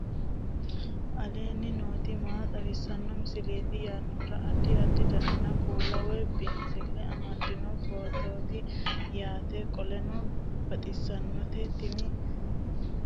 aleenni nooti maa xawisanno misileeti yinummoro addi addi dananna kuula woy biinsille amaddino footooti yaate qoltenno baxissannote tini injeera loosi'nanni woy ga'ninanni akambaalooti